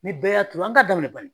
Ni bɛɛ y'a turu an ka daminɛ banni.